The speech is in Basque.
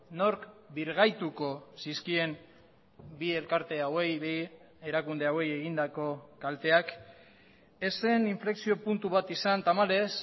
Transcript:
nork birgaituko zizkien bi elkarte hauei bi erakunde hauei egindako kalteak ez zen inflexio puntu bat izan tamalez